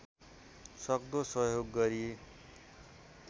सक्दो सहयोग गरी